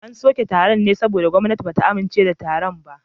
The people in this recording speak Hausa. An soke taron ne saboda gwamnati ba ta amince da taron ba